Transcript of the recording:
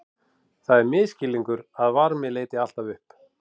Það er misskilningur að varmi leiti alltaf upp.